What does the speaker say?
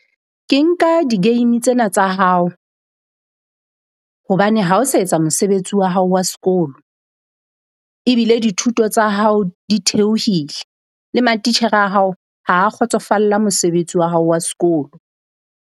Ke nka di-game tsena tsa hao. Hobane ha o sa etsa mosebetsi wa hao wa sekolo. Ebile dithuto tsa hao di theohile le matitjhere a hao ha a kgotsofalla mosebetsi wa hao wa sekolo.